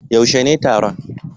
yaushe ne taron?